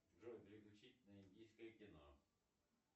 джой переключить на индийское кино